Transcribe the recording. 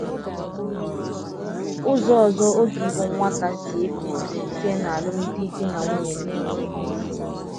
Ụzọ ọzọ oge ịbụ nwata si efu bụ site n’alụm di di na nwunye n'enweghi ịsị